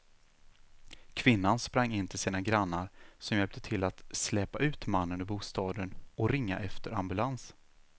Kvinnan sprang in till sina grannar som hjälpte till att släpa ut mannen ur bostaden och ringa efter ambulans.